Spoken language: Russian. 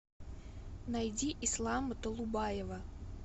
найди ислама толубаева